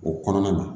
O kɔnɔna na